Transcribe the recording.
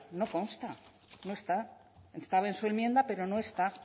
no consta no está estaba en su enmienda pero no está